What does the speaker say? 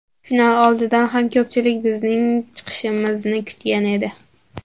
Final oldidan ham ko‘pchilik bizning chiqishimizni kutgan edi.